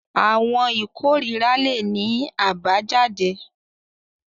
Àwọn ikorira le ní abayjade.